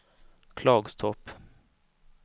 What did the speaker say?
Klagstorp